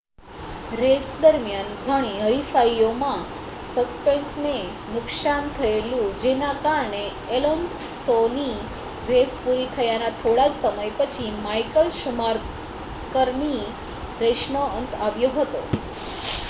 race દરમિયાન ઘણી હરીફાઈઓમાં સસ્પેનશનને નુકસાન થયેલું જેના કારણે એલોન્સોની રેસ પુરી થયાના થોડા જ સમય પછી માઇકલ શુમાકરની રેસનો અંત આવ્યો હતો